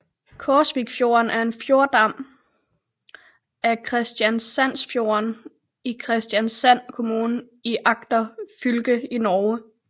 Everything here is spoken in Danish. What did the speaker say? Korsvikfjorden er en fjordarm af Kristiansandsfjorden i Kristiansand kommune i Agder fylke i Norge